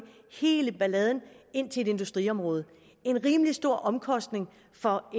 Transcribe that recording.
hele balladen ind til et industriområde det en rimelig stor omkostning for